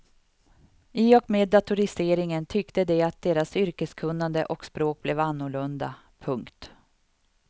I och med datoriseringen tyckte de att deras yrkeskunnande och språk blev annorlunda. punkt